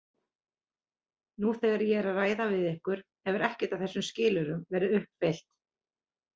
Nú þegar ég er að ræða við ykkur hefur ekkert af þessum skilyrðum verið uppfyllt.